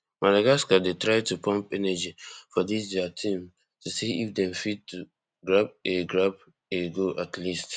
madagascar dey try to pump energy for dis dia team to see if dem fit to grab a grab a goal at least